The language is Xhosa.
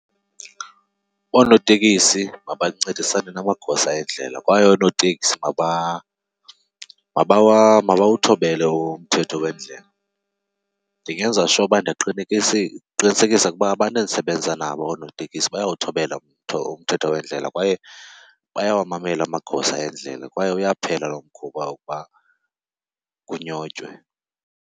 Oonotekisi mabancedisane namagosa endlela kwaye oonoteksi mabawuthobele umthetho wendlela. Ndingenza sure uba ndiyaqinisekisa ukuba abantu endisebenza nabo oonotekisi bayawuthobela umthetho wendlela kwaye bayawamamela amagosa endlela kwaye uyaphela lo mkhuba wokuba kunyotywe.